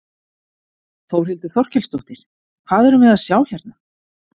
Þórhildur Þorkelsdóttir: Hvað erum við að sjá hérna?